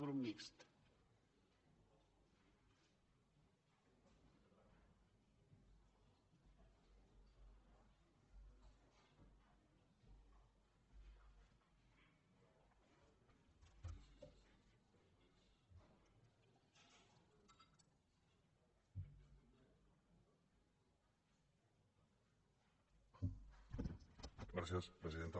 gràcies presidenta